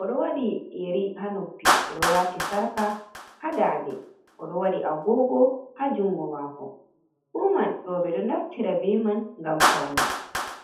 oɗo waɗi yeri haa noppi, oɗo waati sarka haa ndaande, oɗo waɗi agogo haa jungo maako. Fu man rooɓe ɗo naftira be man ngam paune.